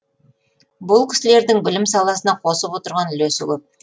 бұл кісілердің білім саласына қосып отырған үлесі көп